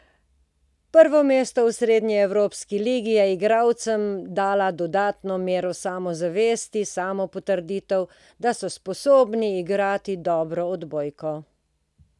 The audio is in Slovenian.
Prvo mesto v srednjeevropski ligi je igralcem dala dodatno mero samozavesti, samopotrditev, da so sposobni igrati dobro odbojko.